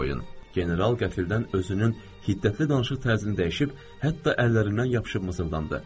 General qəfildən özünün hiddətli danışıq tərzini dəyişib, hətta əllərindən yapışıb mızıldandı.